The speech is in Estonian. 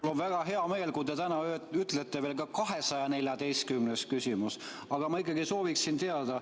Mul on väga hea meel, kui te täna ütlete veel ka "214. küsimus", aga ma ikkagi sooviksin teada ...